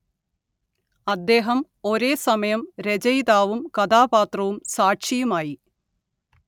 അദ്ദേഹം ഒരേസമയം രചയിതാവും കഥാപാത്രവും സാക്ഷിയുമായി